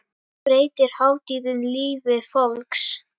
Breytir hátíðin lífi fólks?